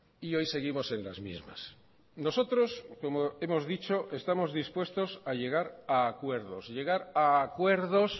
y hoy seguimos en las mismas nosotros como hemos dicho estamos dispuestos a llegar a acuerdos llegar a acuerdos